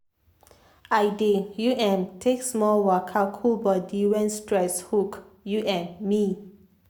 i dey u m take small waka cool body when stress hook u m me.